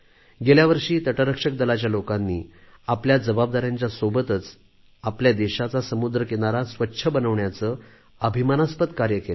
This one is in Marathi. गेल्या वर्षी तटरक्षक दलाच्या लोकांनी आपल्या जबाबदाऱ्याच्या सोबतच आपल्या देशाचा समुद्र किनारा स्वच्छ बनविण्याचे अभिमानास्पद कार्य केले